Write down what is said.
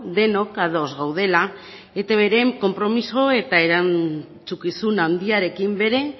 denok ados gaudela eitbren konpromiso eta erantzukizun handiarekin bere